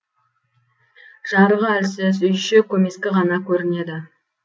жарығы әлсіз үй іші көмескі ғана көрінеді